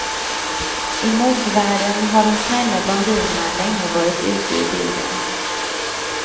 I modevärlden har de snälla blondinerna länge varit ute ur bilden.